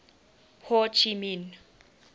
ho chi minh